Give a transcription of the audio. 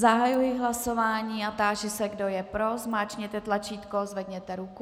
Zahajuji hlasování a táži se, kdo je pro, zmáčkněte tlačítko, zvedněte ruku.